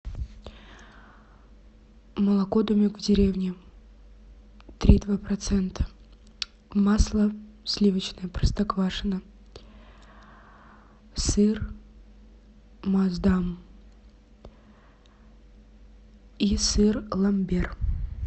молоко домик в деревне три и два процента масло сливочное простоквашино сыр массдам и сыр ламбер